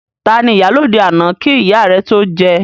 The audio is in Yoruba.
Tani ìyálóde àná kí ìyá rẹ tó jẹ?